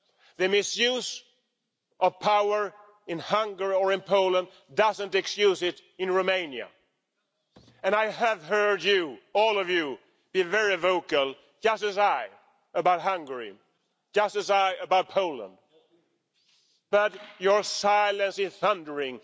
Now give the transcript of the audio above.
The misuse of power in Hungary or in Poland doesn't excuse it in Romania, and I have heard you all of you be very vocal, just as I am about Hungary, just as I am about Poland. But your silence is thundering.